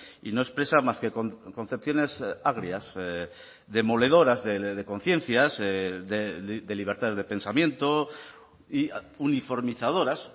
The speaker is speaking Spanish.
y no expresa más que concepciones agrias demoledoras de conciencias de libertades de pensamiento y uniformizadoras